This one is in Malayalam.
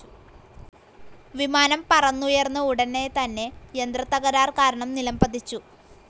വിമാനം പറന്നുയർന്ന ഉടനെ തന്നെ യന്ത്രത്തകരാർ കാരണം നിലംപതിച്ചു.